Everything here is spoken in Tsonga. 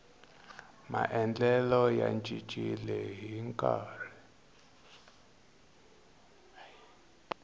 maendlelo ya cincile ni nkarhi